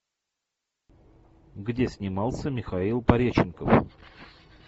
где снимался михаил пореченков